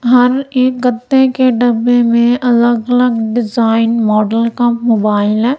हर एक गत्ते के डब्बे में अलग अलग डिजाइन मॉडल का मोबाइल है।